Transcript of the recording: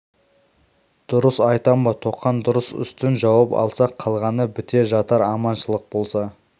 дұрыс айтам ба тоқан дұрыс үстін жауып алсақ қалғаны біте жатар аман шылық болса